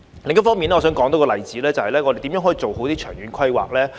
另一方面，我想多說一個例子，那是有關我們如何做好長遠規劃。